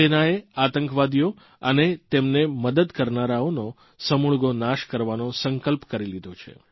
સેનાએ આતંકવાદીઓ અને તેમને મદદ કરનારાઓનો સમૂળગો નાશ કરવાનો સંકલ્પ કરી લીધો છે